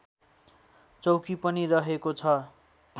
चौकी पनि रहेको छ